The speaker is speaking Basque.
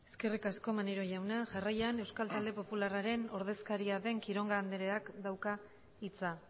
eskerrik asko maneiro jauna jarraian euskal talde popularraren ordezkaria den quiroga andreak dauka hitza